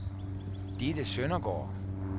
Ditte Søndergaard